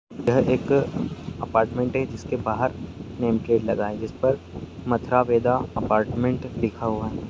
यह एक अपार्टमेंट है जिसके बाहर नाम प्लेट लगा है जिसप मथरा वेदा अपार्टमेंट लिखा हुआ है।